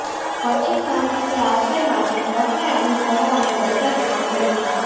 પછી શાંતિથી આશ્રય માટે ટ્રકને અનુસરો અને ગટર અંદર વિચાર